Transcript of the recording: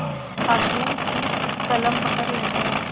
हाकिम की कलम पकड़ लेते हैं